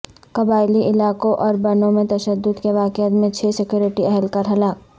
قبائلی علاقوں اور بنوں میں تشدد کے واقعات میں چھ سکیورٹی اہلکار ہلاک